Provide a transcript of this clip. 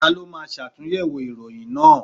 Ta ló máa ṣàtúnyẹ̀wò ìròyìn náà?